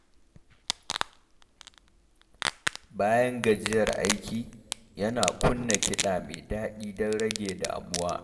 Bayan gajiyar aiki, yana kunna kiɗa mai daɗi don rage damuwa.